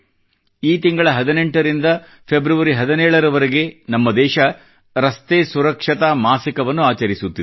ಈ ತಿಂಗಳ 18ರಿಂದ ಫೆಬ್ರವರಿ 17ರವರೆಗೆ ನಮ್ಮ ದೇಶ ರಸ್ತೆ ಸುರಕ್ಷತಾ ಮಾಸಿಕʼವನ್ನು ಆಚರಿಸುತ್ತಿದೆ